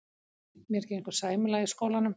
Mér gengur sæmilega í skólanum.